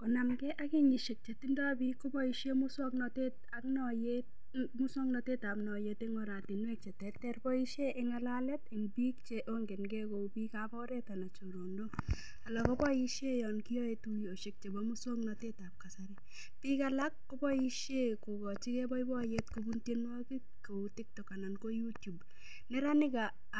Konamgei ak kenyishek chetindoi biik koboishe muswang'natet ab noyeet eng' oratinwek cheterter boishe eng' ng'alalet eng' biikab chongengei kou biikab oret ak chorondok alak koboishe yo koyoei tuyoshek chebo muswang'natetab kasari biik alak koboishe kokochigei boiboiyet kobun tyenwokik kou TikTok anan ko YouTube neranik